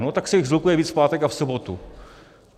No tak se jich shlukuje víc v pátek a v sobotu.